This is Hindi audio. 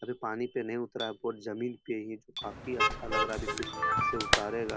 अभी पानी पर नहीं उतरा जमीन पर ही है जो काफी अच्छा लग रहा है इसे उतारेगा।